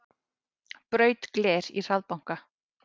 Braut gler í hraðbanka